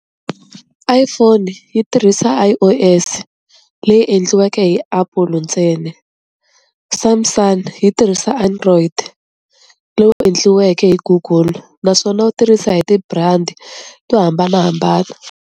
iPhone yi tirhisa I_O_S leyi endliweke hi apple ntsena. Samsung yi tirhisa android, lowu endliweke hi google naswona wu tirhisa hi ti-brand to hambanahambana.